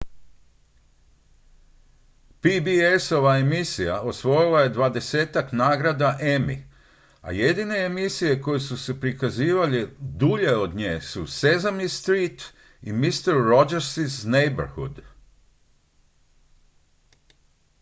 pbs-ova emisija osvojila je dvadesetak nagrada emmy a jedine emisije koje su se prikazivale dulje od nje su sesame street i mister rogers' neighborhood